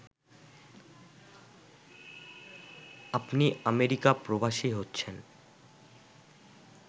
আপনি আমেরিকা প্রবাসী হচ্ছেন